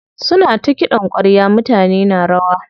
Suna ta kiɗan ƙwarya mutane na rawa.